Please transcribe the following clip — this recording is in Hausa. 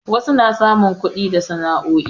wasu na samun kudi da sana'o'i